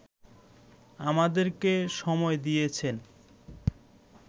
আমাদেরকে সময় দিয়েছেন